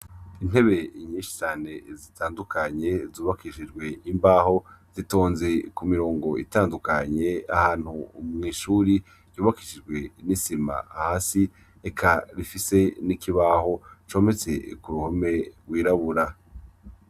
Intebe nyinshi cane zitandukanye zubakishijwe imbaho zitonze ku mirongo itandukanye ahantu mw'ishure ryubakishijwe n'isima hasi eka rifise n'ikibaho cometse ku ruhome rwirabura.